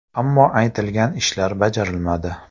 Ammo aytilgan ishlar bajarilmadi”.